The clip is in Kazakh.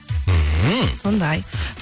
мхм сондай